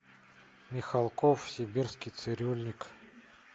михалков сибирский цирюльник